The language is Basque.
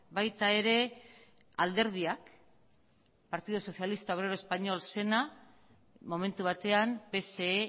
baita ere alderdiak partido socialista obrero español zena momentu batean pse